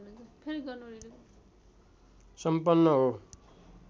सम्पन्न हो